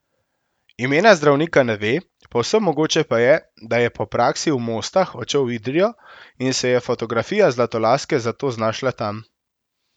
Imena zdravnika ne ve, povsem mogoče pa je, da je po praksi v Mostah odšel v Idrijo in se je fotografija zlatolaske zato znašla tam.